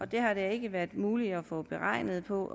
det har det ikke været muligt at få beregninger på